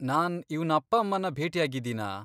ನಾನ್ ಇವ್ನ ಅಪ್ಪ ಅಮ್ಮನ್ನ ಭೇಟಿಯಾಗಿದ್ದೀನಾ?